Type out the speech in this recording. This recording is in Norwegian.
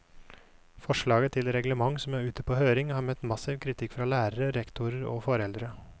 Forslaget til reglement som er ute på høring, har møtt massiv kritikk fra lærere, rektorer og foreldre.